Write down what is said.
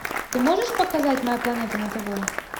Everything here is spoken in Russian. ты можешь показать моя планета на тв